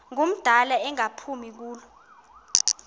ngumdala engaphumi kulo